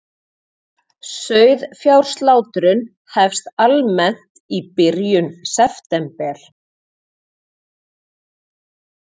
Sauðfjárslátrun hefst almennt í byrjun september